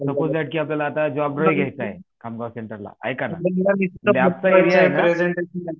suppose तहात आपल्याला आता जॉब घ्याच आहे खामगाव सेंटरला एका ना लॅबचा एरिया हे ना